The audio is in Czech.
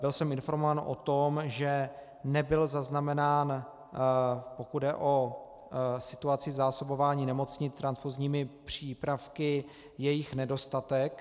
Byl jsem informován o tom, že nebyl zaznamenán, pokud jde o situaci v zásobování nemocnic transfuzními přípravky, jejich nedostatek.